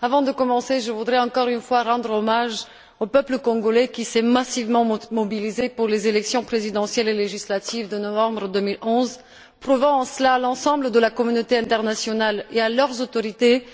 Avant de commencer, je voudrais, encore une fois, rendre hommage au peuple congolais, qui s'est massivement mobilisé pour les élections présidentielles et législatives de novembre 2011, prouvant en cela à l'ensemble de la communauté internationale et à leurs autorités